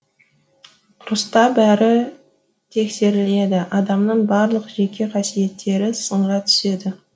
ұрыста бәрі тексеріледі адамның барлық жеке қасиеттері сынға түседі